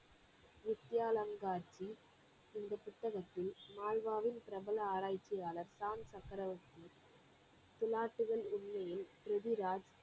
நித்தியானங்காட்சி என்ற புத்தகத்தில் மாள்வாவின் பிரபல ஆராய்ச்சியாளர் சாம் சக்ரவர்த்தி திலாத்தலின் உள்ளியில் ப்ரித்விராஜ்